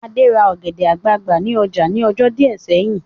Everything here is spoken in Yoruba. Adé ra ọ̀gẹ̀dẹ̀ àgbagbà ní ọjà ní ọjọ́ díẹ̀ sẹ́yìn